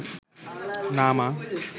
না মা